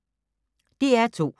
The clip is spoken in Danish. DR2